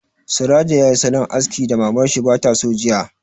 Surajo yayi salon askin da Mamar shi ba ta so jiya